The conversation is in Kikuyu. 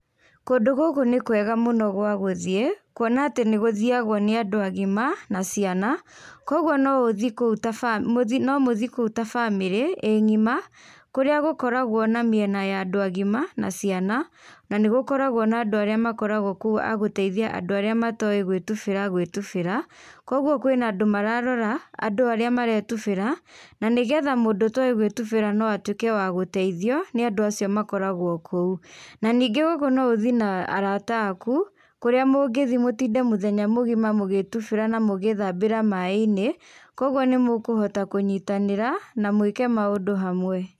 Kũndũ gũkũ nĩ kwega mũno gwa gũthiĩ kuona atĩ nĩgũthiagwo nĩ andũ agima na ciana kwoguo no ũthiĩ kũu ta bamĩrĩ mũthii no mũthii kũu ta bamĩrĩ ĩ ng'ima kũrĩa gũkoragwo na mĩena ya andũ agima na ciana nanĩgũkoragwo na andũ arĩa makoragwo kuo a gũteithia andũ arĩa matoĩ gwĩtubĩra gwĩtubĩra koguo kwĩna na andũ mararoraandũ arĩa maretubĩra na nĩgetha mũndũ ũtoĩ gwĩtubĩra no atwĩke wa gũteithio ni andũ acio makoragwo kũu, na ningĩ ũguo no ũthiĩ na arata akuu kũrĩa mũngĩthiĩ mũtinde mũthenya mũgima mũgĩĩtubĩra na mũgĩthambĩra maĩ-inĩ, kwoguo nĩmũkũhota kũnyitanĩra na mwĩke maũndũ hamwe.